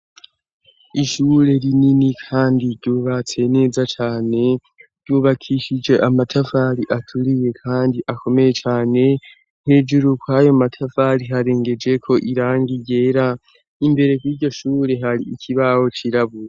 Ishure rinini kandi ryubatse neza cane ryubakishije amatafari aturiye kandi akomeye cane. Hejuru kw'ayo matafari harengejeko irangi ryera. Imbere ku'iryo shure hari ikibaho cirabura.